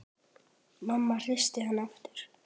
Mamma hristi hann aftur.